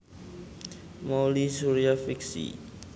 Mouly Surya fiksi